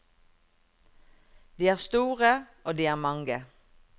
De er store, og de er mange.